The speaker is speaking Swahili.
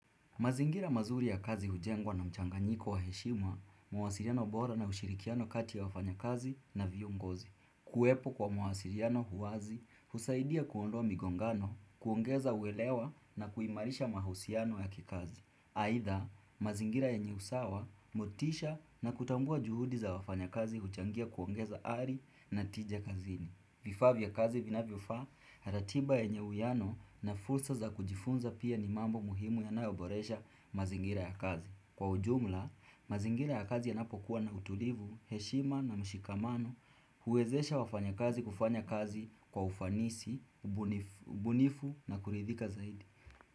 Mazingira mazuri ya kazi hujengwa na mchanganyiko wa heshima, mawasiliano bora na ushirikiano kati ya wafanya kazi na viongozi. Kuwepo kwa mawasiliano wazi, husaidia kuondoa migongano, kuongeza uelewa na kuimarisha mahusiano ya kikazi. Aidha, mazingira yenye usawa, motisha na kutambua juhudi za wafanyakazi huchangia kuongeza ari na tija kazini. Vifaa vya kazi vinavyofaa, na ratiba yenye uwiano na fulsa za kujifunza pia ni mambo muhimu yanayoboresha mazingira ya kazi. Kwa ujumla, mazingira ya kazi yanapokuwa na utulivu, heshima na mshikamano, huwezesha wafanya kazi kufanya kazi kwa ufanisi, ubunifu na kuridhika zaidi.